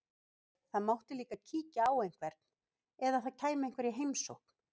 Það mátti líka kíkja á einhvern, eða það kæmi einhver í heimsókn.